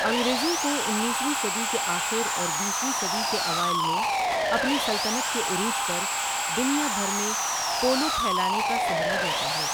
انگریزوں کو انیسویں صدی کے آخر اور بیسویں صدی کے اوائل میں اپنی سلطنت کے عروج پر دنیا بھر میں پولو پھیلانے کا سہرا جاتا ہے۔